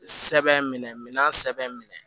Sɛbɛn minɛ minan sɛbɛn minɛ